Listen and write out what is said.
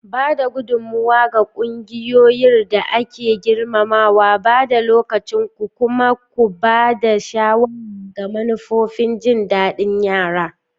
Ba da gudummawa ga ƙungiyar da ake girmamawa, ba da lokacinku, kuma ku ba da shawara ga manufofin jindadin yara.